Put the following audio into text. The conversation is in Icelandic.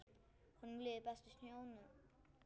Honum liði best í sjónum.